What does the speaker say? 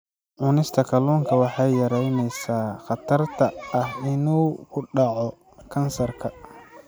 Cunista kalluunka waxay yaraynaysaa khatarta ah inuu ku dhaco kansarka.